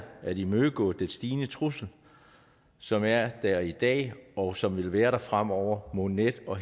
at imødegå den stigende trussel som er der i dag og som vil være der fremover mod net og